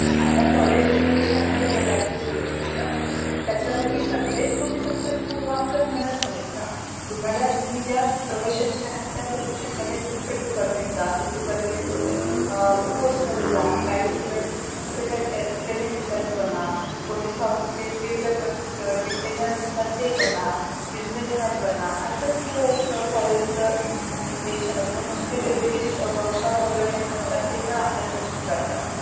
buisness man बना असच ते एक college च intention असत म्हणून ते, वेगवेगळी workshop organize करतात, ते पण आपल्यासाठी च करतात.